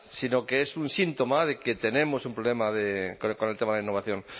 sino que es un síntoma de que tenemos un problema de con el tema de la innovación